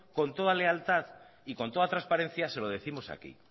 con toda lealtad y con toda trasparencia se lo décimos aquí